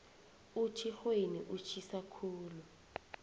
utjhixweni utjhisa khulu